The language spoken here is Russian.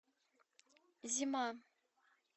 зима